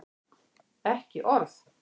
Ekki orð!